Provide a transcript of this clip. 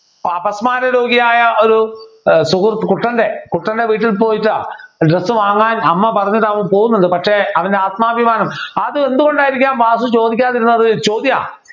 അപസ്മാര രോഗിയായ ഒരു സുഹൃത്ത് കുട്ടൻ്റെ കുട്ടൻ്റെ വീട്ടിൽ പോയിട്ട് Dress വാങ്ങാൻ അമ്മ പറഞ്ഞിട്ടവൻ പോകുന്നുണ്ട് പക്ഷേ അവൻ്റെ ആത്മാഭിമാനം അത് എന്തുകൊണ്ടായിരിക്കും വാസു ചോദിക്കാതിരുന്നത് ചോദ്യാ